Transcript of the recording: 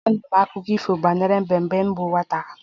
Anụrụ m ọtụtụ akụkọ ifo banyere mbe mgbe m bụ nwata